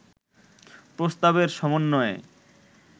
প্রস্তাবের সমন্বয়ে